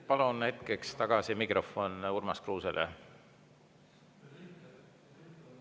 Palun mikrofon hetkeks tagasi Urmas Kruusele.